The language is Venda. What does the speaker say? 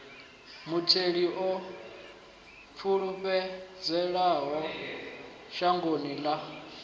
mutheli o pfulutshelaho shangoni ḽa